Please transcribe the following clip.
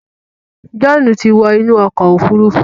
John tí wọ inú okò òfurufú